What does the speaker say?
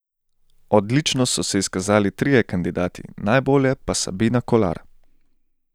Odlično so se izkazali trije kandidati, najbolje pa Sabina Kolar.